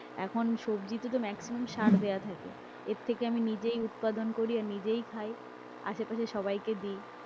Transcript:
এখন সবজিতে তো maximum সার দেওয়া থাকে, এর থেকে আমি নিজেই উৎপাদন করি আর নিজেই খাই, আশেপাশের সবাইকে দিই।